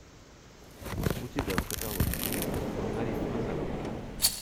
у тебя в каталоге есть маргарита назарова